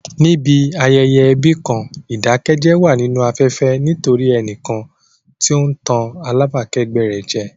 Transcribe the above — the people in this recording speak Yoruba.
Níbi ayẹyẹ ẹbí kan, ìdákẹ́jẹ́ wà nínú afẹ́fẹ́ nítorí ẹnìkan tí ó ń tàn alábàákẹ́gbẹ́ rẹ̀ jẹ.